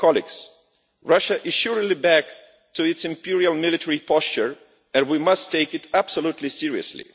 Colleagues, Russia is surely back to its imperial military posture and we must take it absolutely seriously.